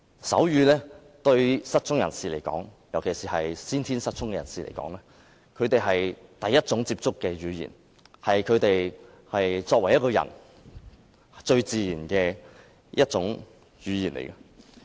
手語是失聰人士尤其是先天失聰的人士最先接觸的語言，也是他們最自然的一種語言。